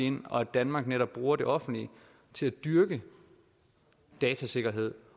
ind og danmark netop bruger det offentlige til at dyrke datasikkerheden